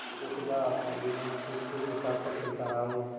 जो सदा आत्माभिमान से सिर उठा कर चलता रहा हो